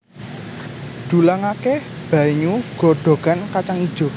Dulangaké banyu godhogan kacang ijo